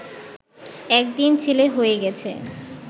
একদিন ছেলে হয়ে গেছে